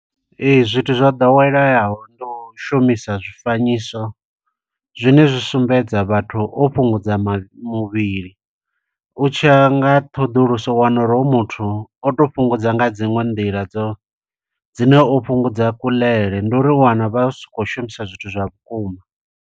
Ee, zwithu zwa ḓoweleyaho ndi u shumisa zwifanyiso, zwine zwi sumbedza vhathu o fhungudza mavhi muvhili. U tshiya nga ṱhoḓuluso u wana uri hoyu muthu o to fhungudza nga dziṅwe nḓila dzo dzine o fhungudza kuḽele. Ndi uri u wana vha si khou shumisa zwithu zwa vhukuma.